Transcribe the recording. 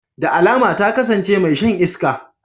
Da alama ta kasance mai shan iska.